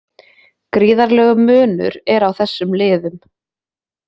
Gríðarlegur munur er á þessum liðum